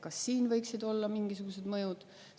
Kas siin võiksid olla mingisugused mõjud?